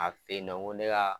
A fe yen nɔ ŋo ne kaa